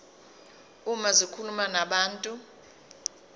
uma zikhuluma nabantu